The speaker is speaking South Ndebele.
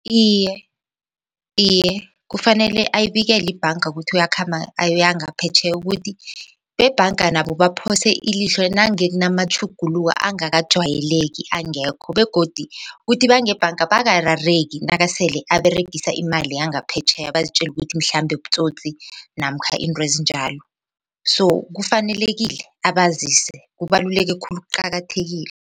Iye, iye kufanele ayibikele ibhanga ukuthi uyakhamba ayoyangaphetjheya ukuthi bebhanga nabo baphose ilihlo nange kunamatjhuguluko angakajwayeleki angekho begodi kuthi bangebhanga bangarareki nakasele aberegisa imali yangaphetjheya bazitjela ukuthi mhlambe butsotsi namkha intwezinjalo so kufanelekile abazise kubaluleke khulu kuqakathekile.